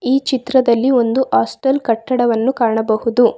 ಈ ಚಿತ್ರದಲ್ಲಿ ಒಂದು ಹಾಸ್ಟೆಲ್ ಕಟ್ಟಡವನ್ನು ಕಾಣಬಹುದು.